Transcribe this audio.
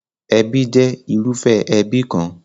Ẹbí jẹ́ irúfẹ́ ẹbí kan.